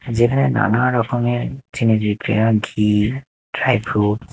যেখানে নানারকমের ঘি ড্রাই ফ্রুট ।